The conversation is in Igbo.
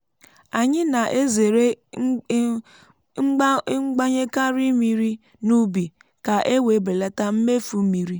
anyị na-ezere i gbanyekari mmiri n’ubi ka e wee belata mmefu mmiri.